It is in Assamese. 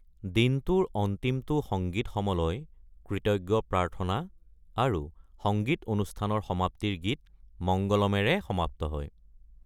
দিনটোৰ অন্তিমটো সংগীত সমলয় কৃতজ্ঞ প্ৰাৰ্থনা আৰু সংগীত অনুষ্ঠানৰ সমাপ্তিৰ গীত মঙ্গলমেৰে সমাপ্ত হয়।